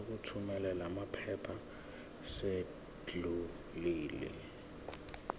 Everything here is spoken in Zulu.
sokuthumela lamaphepha sesidlulile